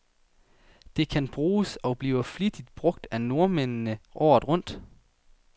Det kan bruges, og bliver flittigt brug af nordmændene, året rundt.